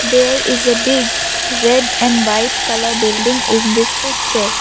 there is a big red and white colour building in this picture.